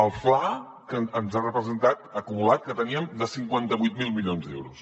el fla que ens ha representat acumulat que teníem de cinquanta vuit mil milions d’euros